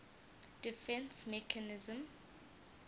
defence mechanism